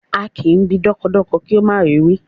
A kì í bi dọ́kọdọkọ kí ó má rì í wí